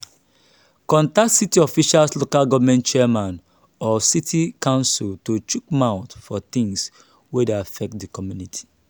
contact city officials local government chairman or city council to chook mouth for things wey dey affect di community